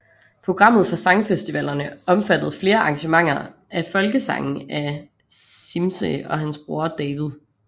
Programmet for sangfestivalerne omfattede flere arrangementer af folkesange af Cimze og hans bror David